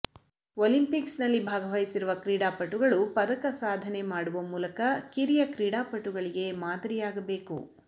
ಒಲಿಂಪಿಕ್ಸ್ನಲ್ಲಿ ಭಾಗವಹಿಸಿರುವ ಕ್ರೀಡಾಪಟುಗಳು ಪದಕ ಸಾಧನೆ ಮಾಡುವ ಮೂಲಕ ಕಿರಿಯ ಕ್ರೀಡಾಪಟುಗಳಿಗೆ ಮಾದರಿಯಾಗಬೇಕು